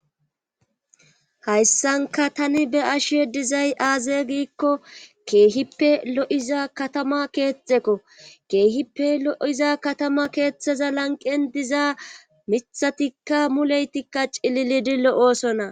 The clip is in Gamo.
hayssanka tani be ashe dizay aaze giikko keehippe lo7iza katama keexekko keehippe lo7iza katama keeththeza lanqen diza mithatikka muleytikka cililidi lo7oosonna